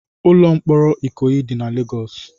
Ụlọ mkpọrọ Ikoyi dị na Lagos.